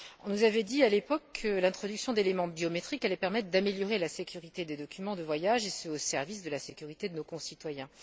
On nous avait dit, à l'époque, que l'introduction d'éléments biométriques allait permettre d'améliorer la sécurité des documents de voyage et ce, au service de la sécurité de nos concitoyens.